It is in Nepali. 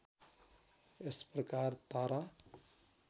यस प्रकार तारा